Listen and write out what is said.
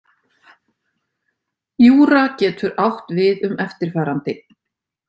Júra getur átt við um eftirfarandi.